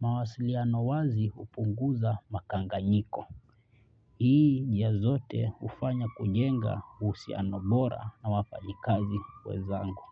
Mawasiliano wazi hupunguza makanganyiko. Hii njia zote hufanya kujenga uhusiano bora na wafanyakazi wenzangu.